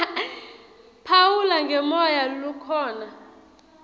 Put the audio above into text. phawula ngemoya lokhona